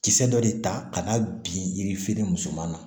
Kisɛ dɔ de ta ka na bin yiri feere muso ma